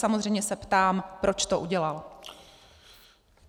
Samozřejmě se ptám, proč to udělal.